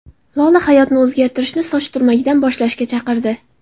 Lola hayotni o‘zgartirishni soch turmagidan boshlashga chaqirdi.